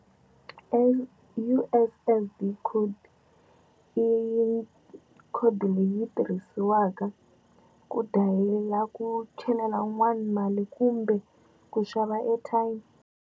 U_S_S_D code i code leyi tirhisiwaka ku dial-a ku chelela wun'wani mali kumbe ku xava airtime.